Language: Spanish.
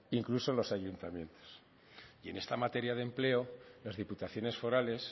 incluso en los ayuntamientos y en esta materia de empleo las diputaciones forales